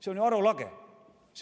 See on ju arulage.